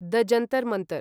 the Jantar Mantar